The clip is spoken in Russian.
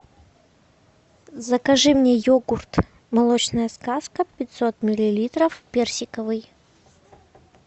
закажи мне йогурт молочная сказка пятьсот миллилитров персиковый